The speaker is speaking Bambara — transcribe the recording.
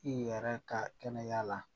I yɛrɛ ka kɛnɛya la